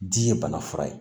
Di ye bana fura ye